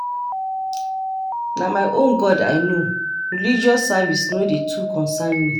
Na my own god i know, religious service no too concern me.